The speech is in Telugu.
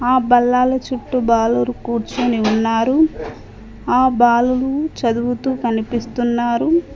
ఆ బాల్లాల చుట్టూ బాలురు కూర్చొని ఉన్నారు ఆ బాలులు చదువుతూ కనిపిస్తున్నారు.